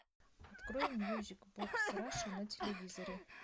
открой мьюзик бокс раша на телевизоре